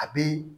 A bi